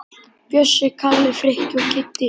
Bjössi, Kalli, Frikki og Kiddi!